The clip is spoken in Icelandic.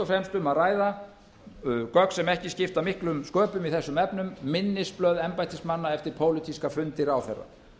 fremst um að ræða gögn sem ekki skipta miklum sköpum í þessum efnum minnisblað embættismanna eftir pólitíska fundi ráðherra